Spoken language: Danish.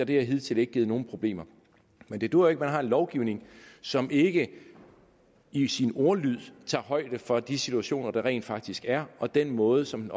det har hidtidig ikke givet nogen problemer men det duer ikke at man har en lovgivning som ikke i sin ordlyd tager højde for de situationer der rent faktisk er og den måde som den